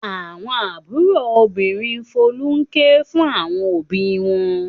Àwọn àbúrò obìnrin Folú ń ké fún àwọn òbí wọn.